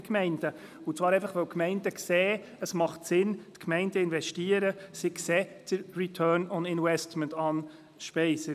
Dies deshalb, weil die Gemeinden sehen, dass es sinnvoll ist, zu investieren und weil sie den «Return on Investment» sehen, Anne Speiser.